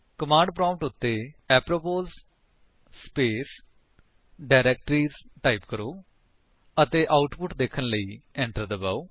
command prompt ਉੱਤੇ apropos space directories type ਕਰੋ ਅਤੇ ਆਉਟਪੁਟ ਦੇਖਣ ਲਈ ਐਂਟਰ ਦਬਾਓ